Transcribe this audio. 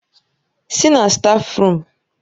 Sì na stáfruum!